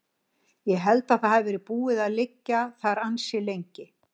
Ég held að það hafi verið búið að liggja þar ansi lengi.